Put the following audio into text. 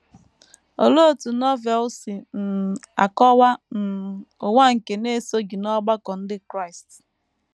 Olee otú Novel si um akọwa um ụwa nke na - esoghị n’ọgbakọ ndị Kraịst?